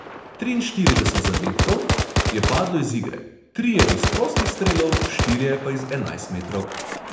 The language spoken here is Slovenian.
Triinštirideset zadetkov je padlo iz igre, trije iz prostih strelov, štirje pa iz enajstmetrovk.